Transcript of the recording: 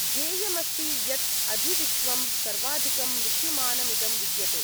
ध्येयमस्ति यत् अधिविश्वं सर्वाधिकं मृत्युमानमिदं विद्यते।